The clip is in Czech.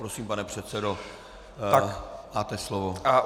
Prosím, pane předsedo, máte slovo.